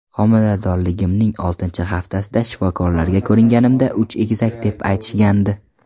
Homiladorligimning oltinchi haftasida shifokorlarga ko‘ringanimda uch egizak deb aytishgandi.